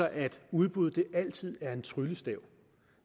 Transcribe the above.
at udbud altid er en tryllestav